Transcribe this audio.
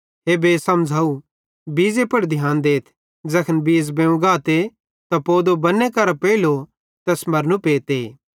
हे बे समझ़ाव बीज़े पुड़ ध्यान देथ ज़ैखन बीज़ बेवं गाते त पोदो बन्ने करां पेइलू तैस मरनू पेते